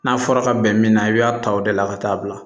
N'a fɔra ka bɛn min na i b'a ta o de la ka taa bila